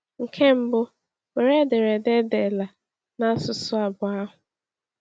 Nke mbụ, were ederede e deela n’asụsụ abụọ ahụ.